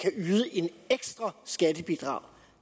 ekstra skattebidrag